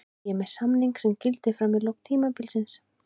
Ég er með samning sem gildir fram í lok tímabilsins.